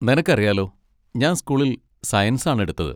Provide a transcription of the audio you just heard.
നിനക്കറിയാലോ ഞാൻ സ്കൂളിൽ സയൻസ് ആണ് എടുത്തത്.